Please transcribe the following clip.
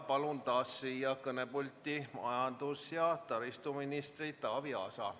Palun taas siia kõnepulti majandus- ja taristuminister Taavi Aasa.